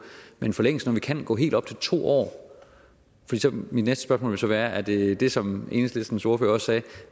men en forlængelse når vi kan gå helt op til to år mit næste spørgsmål vil så være er det det som enhedslistens ordfører også